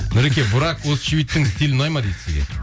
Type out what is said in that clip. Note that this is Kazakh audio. нұреке бурак өзчевиттің стилі ұнайды ма дейді сізге